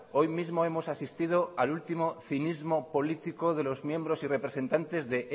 hoy mismo hemos asistido al último cinismo político de los miembros y representantes de